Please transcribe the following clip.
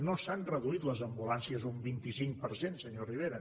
no s’han reduït les ambulàncies un vint cinc per cent senyor rivera